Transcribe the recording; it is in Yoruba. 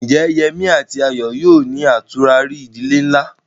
Ǹjẹ́ Yemí àti Ayọ̀ yóò ní àtúrarí ìdílé ńlá?